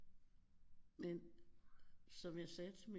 Men som jeg sagde til min